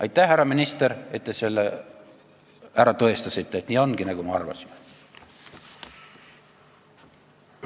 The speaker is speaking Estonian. Aitäh, härra minister, et selle ära tõestasite, et nii ongi, nagu me arvasime!